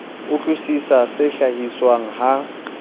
utlwi sisa se hlahiswang ha